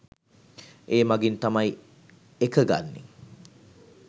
ඒ මගින් තමයි එක ගන්නේ.